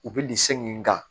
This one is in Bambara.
U bɛ nin segi in kan